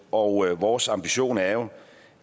og vores ambition er jo